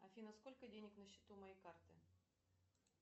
афина сколько денег на счету моей карты